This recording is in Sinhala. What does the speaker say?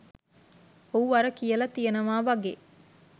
ඔව් අර කියලා තියෙනවා වගේ